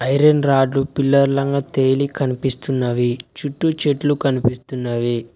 Iron రాడ్లు pillar లంగా తేలి కనిపిస్తున్నవి చుట్టూ చెట్లు కనిపిస్తున్నవి.